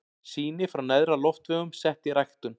Sýni frá neðri loftvegum sett í ræktun.